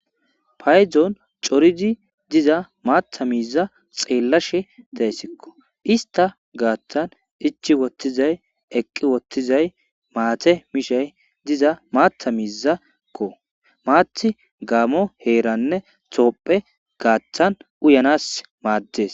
payzon coridi diza maatha miiza xeellashe dayssikko ista gaaththan ichi wottizay eqqi wottizay maate mishay diza maata miizakko maati gaamo heeranne toopphe gaaththan uyanas maaddes